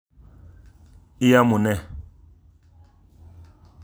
Iamune?